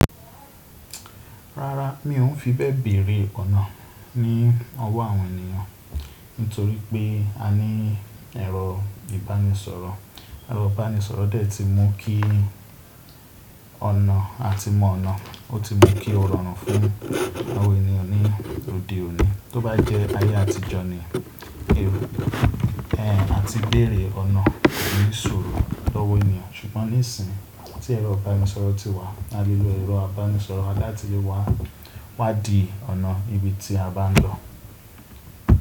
Rárá, mi ò fi bẹ́ẹ̀ bèrè ọ̀nà ní ọwọ́ àwọn ènìyàn torí pé a ní ẹ̀rọ ìbánisọ̀rọ̀, ẹ̀rọ ìbánisọ̀rọ̀ dẹ́ ti mú kí ọ̀nà a ti mọ̀ ọ̀nà, ó ti mú kí ó rọrùn fún àwọn ènìyàn ní òde òní. Tó bá jẹ́ ayé àtijọ́ ni, a ti bèrè ọ̀nà ní sọ̀rọ̀ lọ́wọ́ ènìyàn, ṣùgbọ́n nísìínyi tí ẹ̀rọ ìbánisọ̀rọ̀ ti wà, a lè lo ẹ̀rọ ìbánisọ̀rọ̀ wa láti wá di ọ̀nà ibi tí a bá ń lọ.